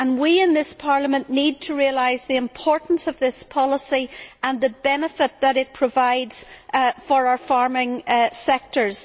We in this Parliament need to realise the importance of this policy and the benefit that it provides for our farming sectors.